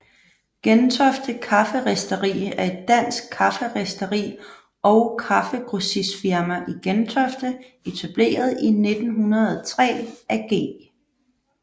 Gentofte Kafferisteri er et dansk kafferisteri og kaffegrossistfirma i Gentofte etableret i 1903 af G